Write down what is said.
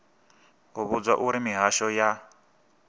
u vhudzwa uri mihasho ya